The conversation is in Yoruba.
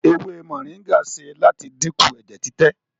ewé moringa ṣe láti dínkù ẹjẹ titẹ.